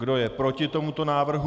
Kdo je proti tomuto návrhu?